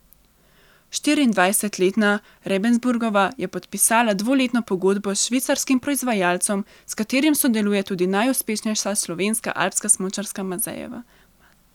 Štiriindvajsetletna Rebensburgova je podpisala dvoletno pogodbo s švicarskim proizvajalcem, s katerim sodeluje tudi najuspešnejša slovenska alpska smučarka Mazejeva.